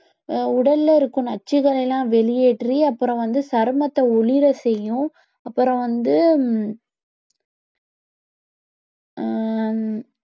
உடல்ல இருக்கும் நச்சுக்களை எல்லாம் வெளியேற்றி அப்புறம் வந்து சருமத்தை ஒளிர செய்யும் அப்புறம் வந்து ஹம்